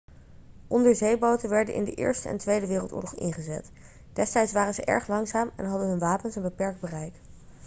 onderzeeboten werden in de eerste en tweede wereldoorlog ingezet destijds waren ze erg langzaam en hadden hun wapens een beperkt bereik